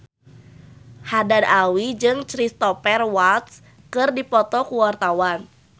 Haddad Alwi jeung Cristhoper Waltz keur dipoto ku wartawan